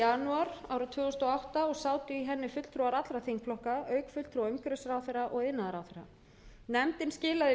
janúar tvö þúsund og átta og sátu í henni fulltrúar allra þingflokka auk fulltrúa umhverfisráðherra og iðnaðarráðherra nefndin skilaði